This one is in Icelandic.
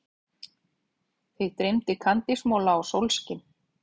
Þig dreymir kandísmola og sólskin.